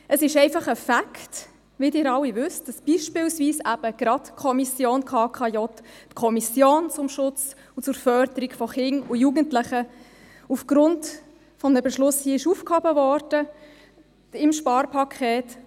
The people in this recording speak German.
Es ist einfach ein Fact, wie Sie alle wissen, dass beispielsweise gerade die Kommission KKJ, die Kommission zum Schutz und zur Förderung von Kindern und Jugendlichen, aufgrund des Sparpakets mit einem Beschluss des Grossen Rates aufgehoben wurde.